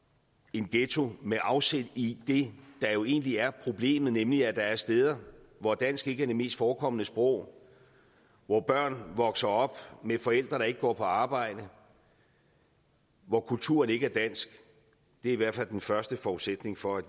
en ghetto med afsæt i det der jo egentlig er problemet nemlig at der er steder hvor dansk ikke er det mest forekommende sprog hvor børn vokser op med forældre der ikke går på arbejde og hvor kulturen ikke er dansk er i hvert fald den første forudsætning for at